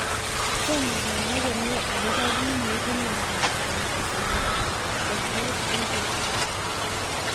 Tomo kenai komie akopo kiy neipu miondop antisynthetase syndrome